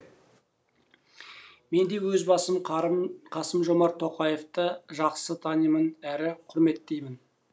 мен де өз басым қасым жомарт тоқаевты жақсы танимын әрі құрметтеймін